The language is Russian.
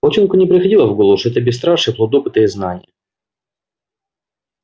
волчонку не приходило в голову что это бесстрашие плод опыта и знания